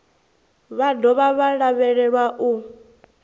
vha dovha vha lavhelelwa u